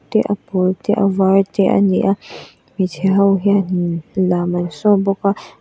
te a pawl te a var te ani a hmeichhe ho hian in lam an show bawk a.